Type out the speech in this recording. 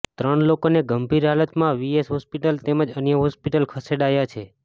ત્રણ લોકોને ગંભીર હાલતમાં વીએસ હોસ્પિટલ તેમજ અન્ય હોસ્પિટલ ખસેડાયા છે